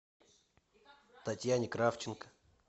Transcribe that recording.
татьяне кравченко